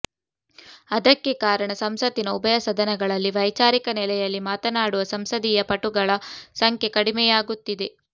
ಅದಕ್ಕೆ ಕಾರಣ ಸಂಸತ್ತಿನ ಉಭಯ ಸದನಗಳಲ್ಲಿ ವೈಚಾರಿಕ ನೆಲೆಯಲ್ಲಿ ಮಾತನಾಡುವ ಸಂಸದೀಯ ಪಟುಗಳ ಸಂಖ್ಯೆ ಕಡಿಮೆಯಾಗುತ್ತಿದೆ